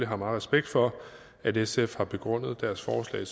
har meget respekt for at sf har begrundet deres forslag